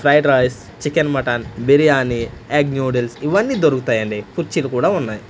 Fried rice chicken mutton biryani egg noodles ఇవన్నీ దొరుకుతాయండి కుర్చీలు కూడా ఉన్నాయ్.